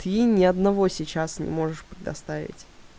ты ни одного сейчас не можешь предоставить